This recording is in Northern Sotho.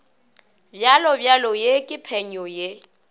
bjalobjalo ye ke phenyo ye